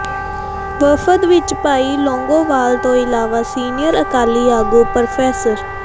ਵਫ਼ਦ ਵਿਚ ਭਾਈ ਲੌਂਗੋਵਾਲ ਤੋਂ ਇਲਾਵਾ ਸੀਨੀਅਰ ਅਕਾਲੀ ਆਗੂ ਪ੍ਰੋ